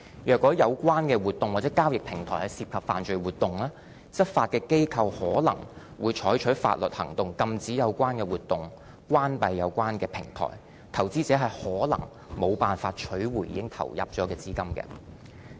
如果有關活動或交易平台涉及犯罪活動，執法機構可能會採取法律行動，禁止有關活動、關閉有關平台，投資者可能無法取回已經投入的資金。